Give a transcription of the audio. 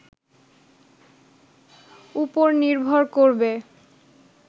উপর নির্ভর করবে